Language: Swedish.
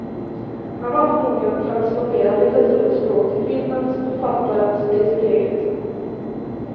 Han har förmågan att transformera litteraturens språk till filmens, författarens till sitt eget.